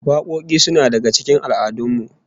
Wakoki suna daga cikin al'adun mu